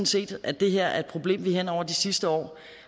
set at det her er et problem vi hen over de sidste år